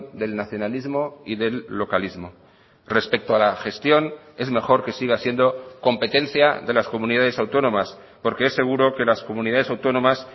del nacionalismo y del localismo respecto a la gestión es mejor que siga siendo competencia de las comunidades autónomas porque es seguro que las comunidades autónomas